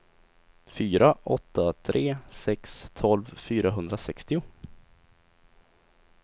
fyra åtta tre sex tolv fyrahundrasextio